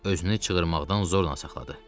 Özünü çığırmaqdan zorla saxladı.